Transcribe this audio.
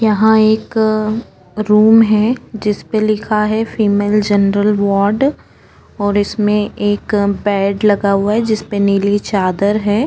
यहाँ एक रूम है जिसपे लिखा है फीमेल जनरल वार्ड और इसमें एक बीएड लगा हुआ है जिसपे नीली चादर है।